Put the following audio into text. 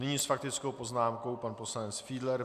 Nyní s faktickou poznámkou pan poslanec Fiedler.